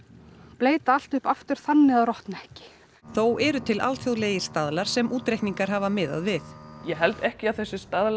bleyta allt upp aftur þannig að það rotni ekki þó eru til alþjóðlegir staðlar sem útreikningar hafa miðað við ég held ekki að þessir staðlar